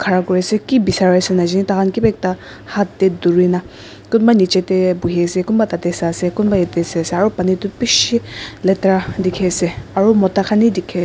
Khara kuri ase ki besari ase najane taikhan keba ekta hat tey durina kunba neche tey buhi ase kunba tate sai ase kunba yate ase aro pani toh beshi letera dekhi ase aro mota khan hi dekhi--